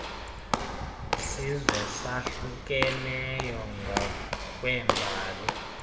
sizwe sahlukeneyo ngokweembali